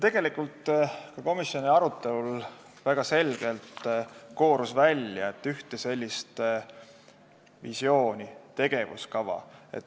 Tegelikult koorus ka komisjoni arutelul väga selgelt välja, et ei ole ühte visiooni või tegevuskava.